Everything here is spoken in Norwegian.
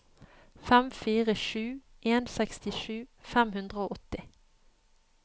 fem fire sju en sekstisju fem hundre og åtti